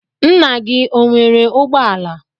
Nna gị o nwere ụgbọala?